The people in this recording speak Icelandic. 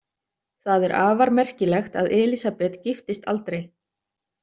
Það er afar merkilegt að Elísabet giftist aldrei.